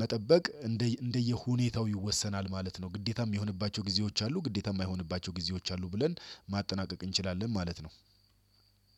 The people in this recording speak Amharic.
መጠበቅ እንደ እንደየሁኔታው ይወሰናል ማለት ነው። ግዴታም የሚሆንባቸው ጊዜዎች አሉ ግዴታም የማይሆንባቸው ጊዜዎች አሉ ብለን ማጠናቀቅ እንችላለን ማለት ነው።